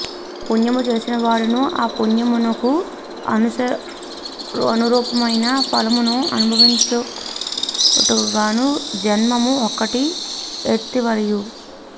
పుణ్యము చేసినవాఁడును ఆ పుణ్యమునకు అనురూపమైన ఫలమును అనుభవించుటకుఁగాను జన్మము ఒక్కటి ఎత్తవలయు